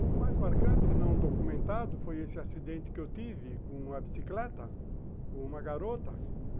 O mais marcante, não documentado, foi esse acidente que eu tive com uma bicicleta, com uma garota.